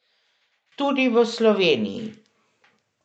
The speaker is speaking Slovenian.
Tudi v Sloveniji.